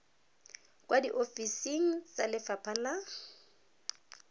kwa diofising tsa lefapha la